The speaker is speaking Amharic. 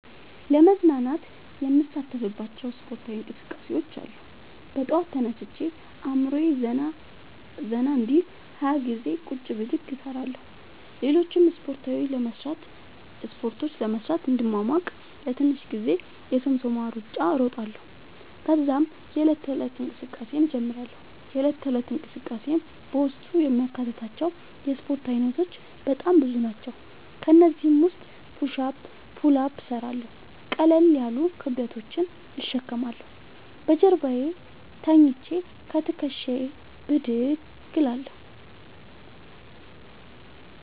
ለመዝናናት የምሣተፍባቸዉ እስፖርታዊ እንቅስቃሤዎች አሉ። በጠዋት ተነስቼ አእምሮየ ዘና እንዲል 20ገዜ ቁጭ ብድግ እሰራለሁ። ሌሎችን እስፖርቶች ለመሥራት እንድሟሟቅ ለትንሽ ጊዜ የሶምሶማ እሩጫ እሮጣለሁ። ተዛም የዕለት ተለት እንቅስቃሴየን እጀምራለሁ። የእለት ተለት እንቅስቃሴየም በውስጡ የሚያካትታቸዉ የእስፖርት አይነቶች በጣም ብዙ ናቸዉ። ከእነዚህም ዉስጥ ፑሽ አፕ ፑል አፕ እሠራለሁ። ቀለል ያሉ ክብደቶችን እሸከማለሁ። በጀርባየ ተኝቸ ከትክሻየ ብድግ እላለሁ።